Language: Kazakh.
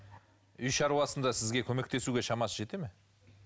үй шаруасында сізге көмектесуге шамасы жетеді ме